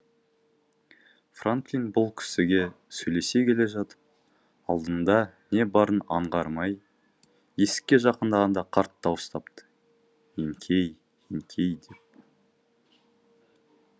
франклин бұл кісіге сөйлесе келе жатып алдыңда не барын аңғармай есікке жақындағанда қарт дауыстапты еңкей еңкей деп